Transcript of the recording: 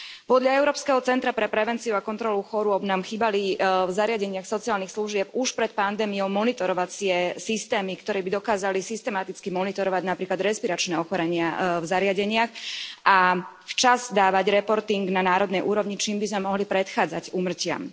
Podľa Európskeho centra pre prevenciu a kontrolu chorôb nám chýbali v zariadeniach sociálnych služieb už pred pandémiou monitorovacie systémy, ktoré by dokázali systematicky monitorovať napríklad respiračné ochorenia v zariadeniach a včas dávať reporting na národnej úrovni, čím by sme mohli predchádzať úmrtiam.